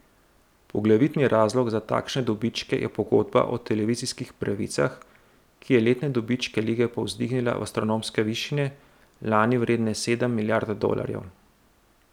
Poglavitni razlog za takšne dobičke je pogodba o televizijskih pravicah, ki je letne dobičke lige povzdignila v astronomske višine, lani vredne sedem milijard dolarjev.